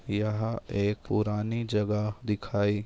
यहाँ एक पुराणी जगहा दिखाई--